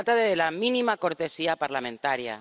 Se trata de la mínima cortesía parlamentaria.